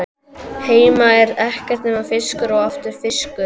Heima er ekkert nema fiskur og aftur fiskur.